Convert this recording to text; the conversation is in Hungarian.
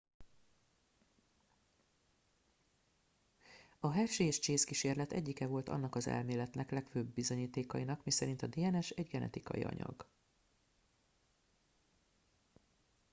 a hershey és chase kísérlet egyike volt annak az elméletnek legfőbb bizonyítékainak miszerint a dns egy genetikai anyag